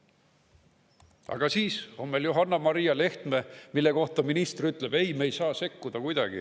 Aga siis on meil Johanna-Maria Lehtme, mille kohta minister ütles: "Ei, me ei saa kuidagi sekkuda.